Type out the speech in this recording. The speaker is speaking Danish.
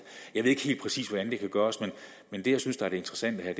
jeg ved ikke helt præcist hvordan det kan gøres men det jeg synes er det interessante her